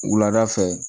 Wulada fɛ